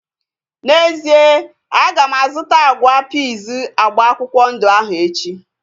N'ezie, aga m azụta agwa piiz agba akwụkwọ ndụ ahu echi